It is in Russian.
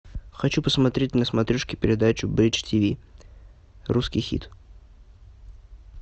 хочу посмотреть на смотрешке передачу бридж тв русский хит